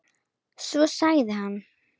Svo sagði hann.